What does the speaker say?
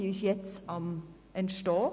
Diese Strategie ist jetzt am Entstehen.